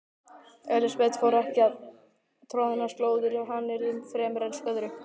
Elsabet fór ekki troðnar slóðir í hannyrðum fremur en öðru.